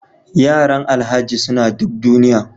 Yaran alhaji suna duk duniya